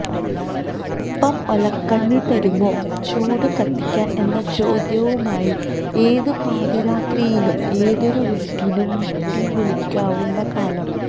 അൽപ്പം ഒലക്കണ്ണി തരുമോ ചൂട്ട് കത്തിക്കാൻ എന്നചോദ്യവുമായി ഏത് പാതിരാത്രിയിലും ഏതൊരു വീട്ടിലും മുട്ടിവിളിക്കാവുന്ന കാലം